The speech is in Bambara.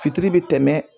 Fitiri bɛ tɛmɛ